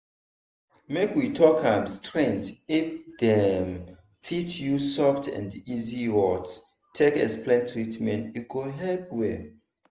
make we talk am straight if dem fit use soft and easy words take explain treatment e go help well.